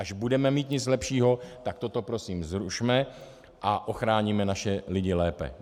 Až budeme mít něco lepšího, tak toto prosím zrušme a ochráníme naše lidi lépe.